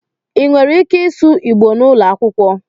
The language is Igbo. Ị nwere ike ịsụ Igbò n'ụlọ akwụkwọ?